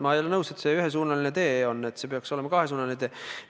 Ma ei ole nõus, et see on ühesuunaline tee, see peaks olema kahesuunaline tee.